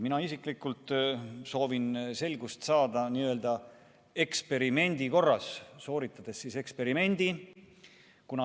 Mina isiklikult soovin selgust saada n-ö eksperimendi korras, sooritades eksperimendi.